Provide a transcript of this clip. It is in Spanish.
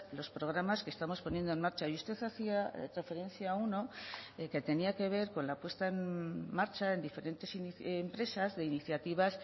los programas que estamos poniendo en marcha y usted hacía referencia a uno que tenía que ver con la puesta en marcha en diferentes empresas de iniciativas